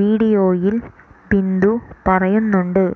വീഡിയോയിൽ ബിന്ദു പറയുന്നുണ്ട്